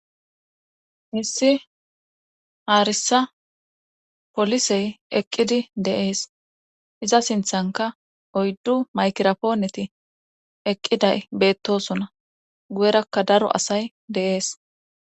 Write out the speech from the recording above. issi haarisa polisey eqqidi deees iza sinthanka oyddu maykira pooneti eqqiday beettosona guyerakka daro asay de7ees